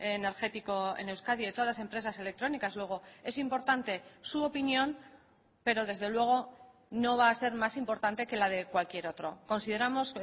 energético en euskadi de todas las empresas electrónicas luego es importante su opinión pero desde luego no va a ser más importante que la de cualquier otro consideramos